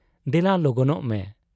ᱫᱮᱞᱟ ᱞᱚᱜᱚᱱᱚᱜ ᱢᱮ ᱾'